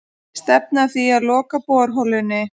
Stefna að því að loka borholunni